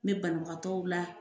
N bɛ banabagatɔw la